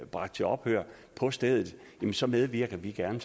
bragt til ophør på stedet så medvirker vi gerne